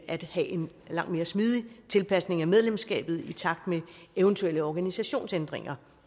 at have en langt mere smidig tilpasning af medlemskabet i takt med eventuelle organisationsændringer